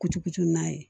Kucucɛ n'a ye